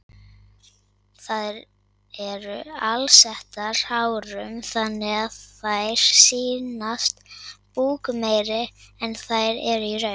Þær eru alsettar hárum þannig að þær sýnast búkmeiri en þær eru í raun.